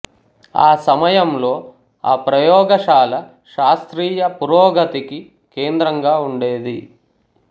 ఆ సమయంలో ఆ ప్రయోగశాల శాస్త్రీయ పురోగతికి కేంద్రంగా ఉండేది